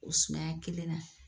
O sumaya kelen na.